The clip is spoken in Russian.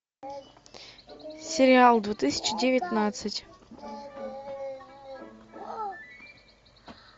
сериал две тысячи девятнадцать